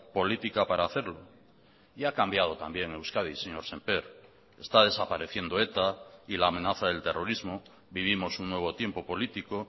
política para hacerlo y a cambiado también euskadi señor sémper está desapareciendo eta y la amenaza del terrorismo vivimos un nuevo tiempo político